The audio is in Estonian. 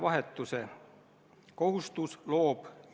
Väga tore, kui ta tervis parem on.